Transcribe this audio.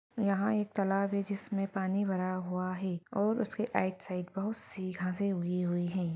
यहाँ एक तालाब है जिसमें पानी भरा हुआ है और उसके राइट साइड बहुत सी घासे उगी हुई है।